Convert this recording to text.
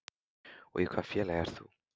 Og í hvaða félagi ert þú?